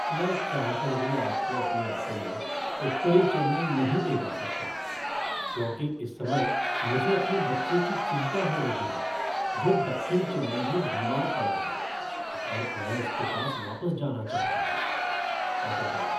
मैं चाह कर भी आपको अपने ऑटो में उत्तरी चेन्नई नहीं ले जा सकता क्योंकि इस समय मुझे अपने बच्चे की चिंता हो रही है जो दक्षिण चेन्नई में बीमार पड़ा है और मैं उसके पास वापस जाना चाहता हूँ। Auto driver